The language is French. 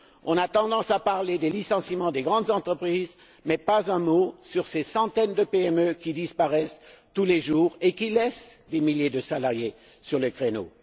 On a tendance à parler des licenciements dans les grandes entreprises, mais pas un mot sur ces centaines de PME qui disparaissent tous les jours et qui laissent des milliers de salariés sur le carreau.